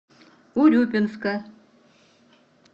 урюпинска